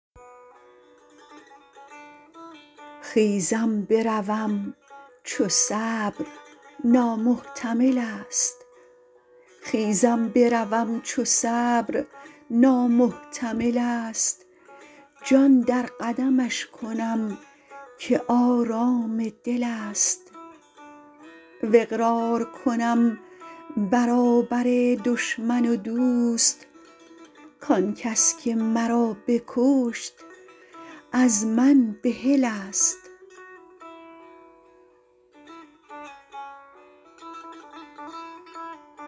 خیزم بروم چو صبر نامحتمل ست جان در قدمش کنم که آرام دل ست و اقرار کنم برابر دشمن و دوست کآن کس که مرا بکشت از من بحل ست